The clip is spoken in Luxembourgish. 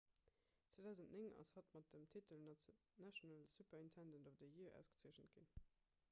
2009 ass hatt mat dem titel national superintendent of the year ausgezeechent ginn